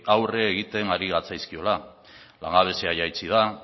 aurre egiten ari gatzaizkiela langabezia jaitsi da